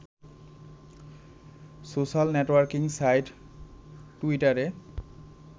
social networking site টুইটারে